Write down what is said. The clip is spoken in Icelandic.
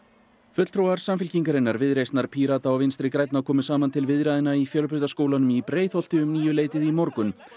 fulltrúar Samfylkingarinnar Viðreisnar Pírata og Vinstri grænna komu saman til viðræðna í Fjölbrautaskólanum í Breiðholti um níuleytið í morgun